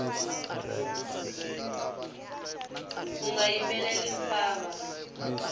unga yimbeleli mfava